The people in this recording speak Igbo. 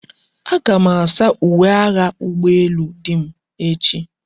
Aga m asa uwe agha ụgbọ elu dim echi.